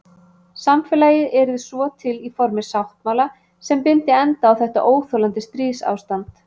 Samfélagið yrði svo til í formi sáttmála sem byndi endi á þetta óþolandi stríðsástand.